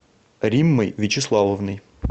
риммой вячеславовной